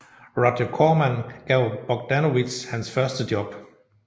Roger Corman gav Bogdanovich hans første job